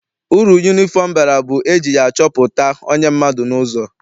Uru yunifọm bara bụ na eji ya achọpụta onye mmadụ n'ụzọ.